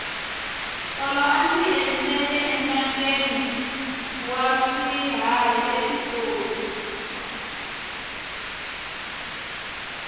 tolo a ndzi endzela entangheni wa swiharhi epitori